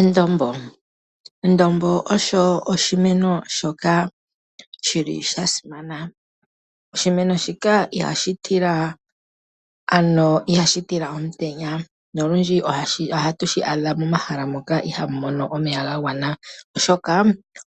Endombo. Edombo osho oshimeno shoka shili sha simana. Oshimeno shika ihashi tila omutenya, nolundji ohashi adhika momahala moka ihamu mono omeya ga gwana, oshoka